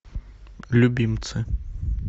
любимцы